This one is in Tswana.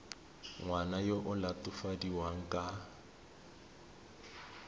ngwana yo o latofadiwang ka